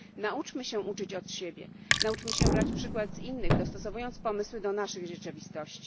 Nauczmy się uczyć od siebie, nauczmy się brać przykład z innych, dostosowując pomysły do naszych rzeczywistości.